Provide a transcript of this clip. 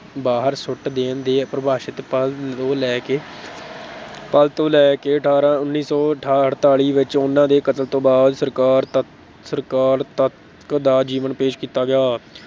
ਬਾਹਰ ਸੁੱਟ ਦੇਣ ਦੇ ਪਰਿਭਾਸ਼ਿਤ ਪਲ ਤੋਂ ਲੈ ਕੇ ਪਲ ਤੋਂ ਲੈ ਕੇ ਉੱਨੀ ਸੌ ਠਾ ਅੜਤਾਲੀ ਵਿੱਚ ਉਨ੍ਹਾਂ ਦੇ ਕਤਲ ਤੋਂ ਬਾਅਦ ਸਰਕਾਰ ਤੱਕ, ਸਰਕਾਰ ਤੱਕ ਦਾ ਜੀਵਨ ਪੇਸ਼ ਕੀਤਾ ਗਿਆ।